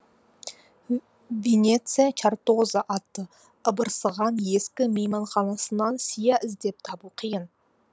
венецияның чартоза атты ыбырсыған ескі мейманханасынан сия іздеп табу қиын